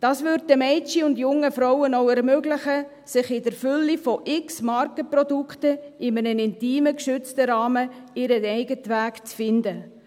Das würde den Mädchen und jungen Frauen auch ermöglichen, in der Fülle von x Markenprodukten in einem intimen, geschützten Rahmen ihren eigenen Weg zu finden.